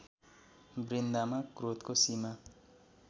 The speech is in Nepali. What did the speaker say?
वृन्दामा क्रोधको सीमा